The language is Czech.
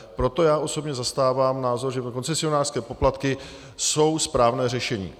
Proto já osobně zastávám názor, že koncesionářské poplatky jsou správné řešení.